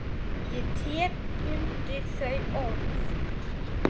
Ég tek undir þau orð.